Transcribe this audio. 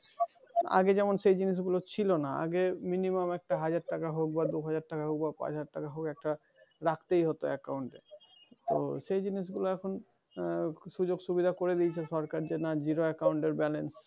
আগে যেমন সেই জিনিস গুলো ছিল না। আগে minimum একটা হাজারটাকা হোক বা দুহাজার টাকা বা পাঁচহাজার টাকা হোক একটা রাখতেই হত account এ। তোর সেই জিনিস গুলো এখন আহ সুযোগ-সুবিধা করে দিয়েছে সরকার যে না zero account এর balance